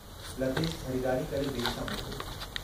लतेश ख़रीदारी करे देर सां मोटियो।